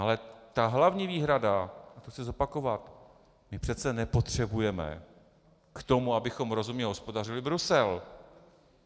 Ale ta hlavní výhrada, a to chci zopakovat - my přece nepotřebujeme k tomu, abychom rozumně hospodařili, Brusel.